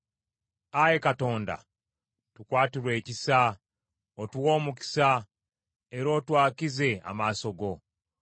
Ayi Katonda tukwatirwe ekisa, otuwe omukisa, era otwakize amaaso go.